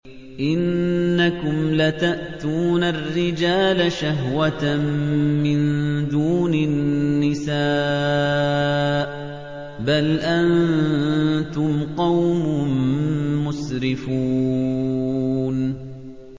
إِنَّكُمْ لَتَأْتُونَ الرِّجَالَ شَهْوَةً مِّن دُونِ النِّسَاءِ ۚ بَلْ أَنتُمْ قَوْمٌ مُّسْرِفُونَ